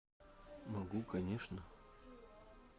могу конечно